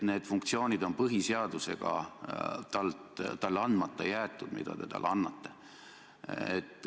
Need funktsioonid on põhiseadusega talle andmata jäetud, mida te talle annate.